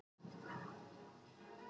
Takk Dúi.